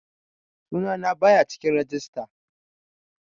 Sunana baya cikin rajista